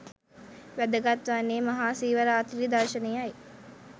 වැදගත් වන්නේ මහා සිව රාත්‍රි දර්ශනයයි